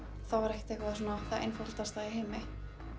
það var ekki það einfaldasta í heimi